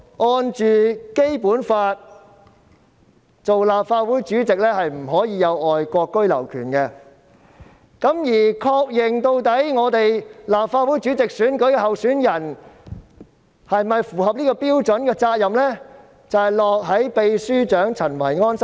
按《基本法》訂明，立法會主席不能擁有外國居留權，而確認立法會主席候選人是否符合標準的責任，正正是立法會秘書長陳維安。